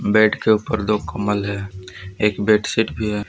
Bed के ऊपर दो कंबल है एक बेडशिट भी है।